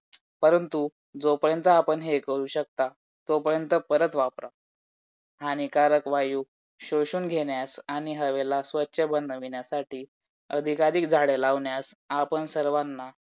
दहा तारखेपासून तर मी पेपर solve करायला घेणार आहे मी अस ठरवलच आहे की दहा तारखे नंतर study पूर्ण बंद फक्त पेपर solve करायचे बस्स